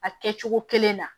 A kɛ cogo kelen na